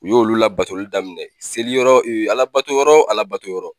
U y'olu labatoli daminɛ seli yɔrɔ Ala bato yɔrɔ o Ala bato yɔrɔ.